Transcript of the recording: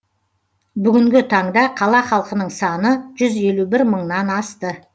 бүгінгі таңда қала халқының саны жүз елу бір мыңнан асты